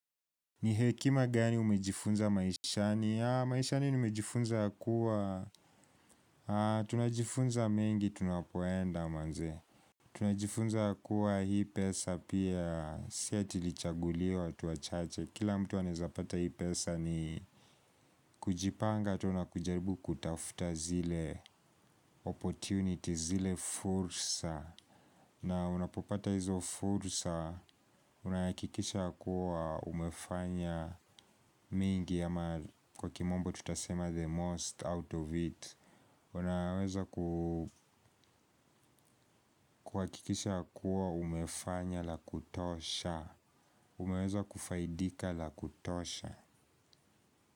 Ni hekima gani umejifunza maishani? Maishani nimejifunza kuwa tunajifunza mengi tunapoenda manze. Tunajifunza kuwa hii pesa pia, si ati ilichaguliwa watu wachache. Kila mtu anaezapata hii pesa ni kujipanga tu na kujaribu kutafuta zile opportunity, zile fursa. Na unapopata hizo fursa unahakikisha kuwa umefanya mingi ama kwa kimombo tutasema the most out of it. Unaweza kuhakikisha kuwa umefanya la kutosha. Umeweza kufaidika la kutosha.